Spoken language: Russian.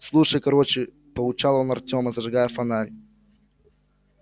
слушай короче поучал он артёма зажигая фонарь